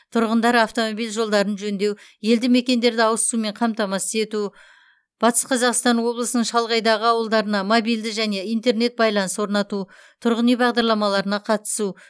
тұрғындар автомобиль жолдарын жөндеу елді мекендерді ауыз сумен қамтамасыз ету батыс қазақстан облысының шалғайдағы ауылдарына мобильді және интернет байланыс орнату тұрғын үй бағдарламаларына қатысу